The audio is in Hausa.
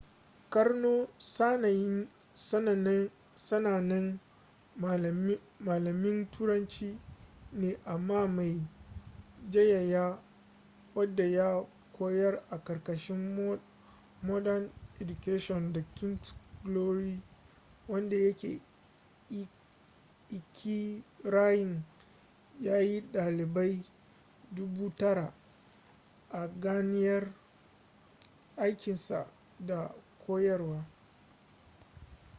karno sanannen malamin turanci ne amma mai jayayya wadda ya koyar a karkashin modern education da king’s glory wadda yake ikirarin ya yi dalibai dubu tara 9,000 a ganiyar aikinsa na koyarwa